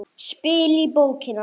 Spil í bókina.